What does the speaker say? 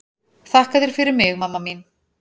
Þakka þér fyrir mig mamma mín.